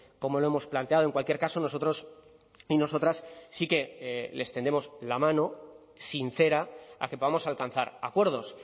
como lo hemos planteado en cualquier caso nosotros y nosotras sí que les tendemos la mano sincera a que podamos alcanzar acuerdos